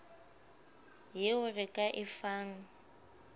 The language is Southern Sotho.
yeo re ka e fang